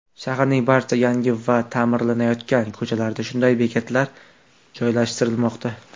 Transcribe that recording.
Shaharning barcha yangi va ta’mirlanayotgan ko‘chalarida shunday bekatlar joylashtirilmoqda.